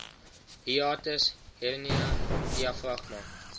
hiatus hernia diafragma